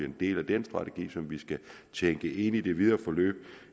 en del af den strategi som vi skal tænke ind i det videre forløb